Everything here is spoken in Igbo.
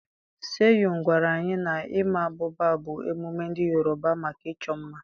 Seyun gwara anyị na ịma abụba bụ emume ndị Yorùbá maka ịchọ mma.